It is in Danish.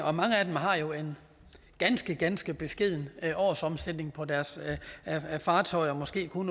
og mange af dem har jo en ganske ganske beskeden årsomsætning på deres fartøjer måske kun